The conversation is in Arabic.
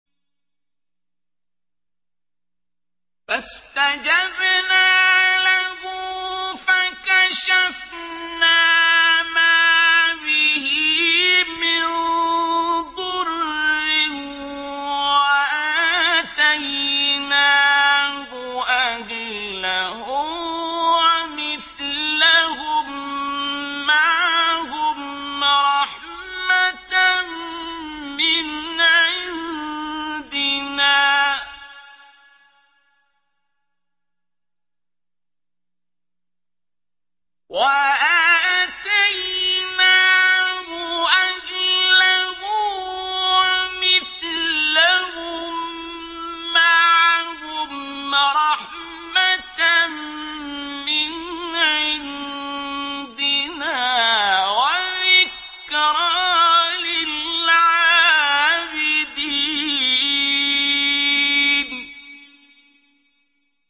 فَاسْتَجَبْنَا لَهُ فَكَشَفْنَا مَا بِهِ مِن ضُرٍّ ۖ وَآتَيْنَاهُ أَهْلَهُ وَمِثْلَهُم مَّعَهُمْ رَحْمَةً مِّنْ عِندِنَا وَذِكْرَىٰ لِلْعَابِدِينَ